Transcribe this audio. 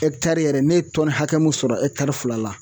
yɛrɛ ne ye tɔni hakɛ mun sɔrɔ fila.